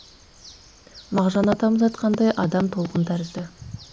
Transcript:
мағжан атамыз айтқандай адам толқын тәрізді